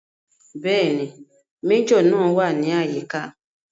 Bẹ́ẹ̀ni, Méjọ̀ náà wà ní àyíká